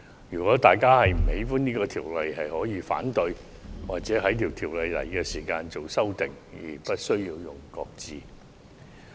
如果大家不喜歡修訂法例，大可提出反對或在其提交立法會時提出修改，而不是將其擱置。